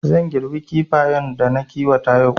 Zan girbi Kifayen da na kiwata yau